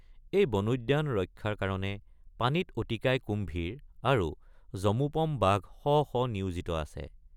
এই বনোদ্যান ৰক্ষাৰ কাৰণে পানীত অতিকায় কুম্ভীৰ আৰু যমোপম বাঘ শ শ নিয়োজিত আছে।